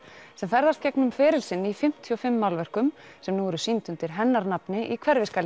sem ferðast gegnum feril sinn í fimmtíu og fimm málverkum sem nú eru sýnd undir hennar nafni í